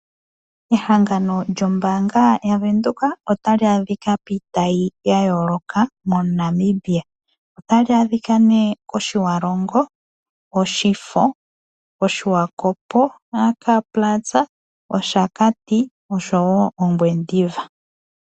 Ehangano lyombaanga ya Venduka otali adhika miitayi ya yooloka moNamibia. Otali adhika nee mOtjiwarongo ,mOshifo, Swakopmund AK Plaza, Oshakati osho woo Ongwediva.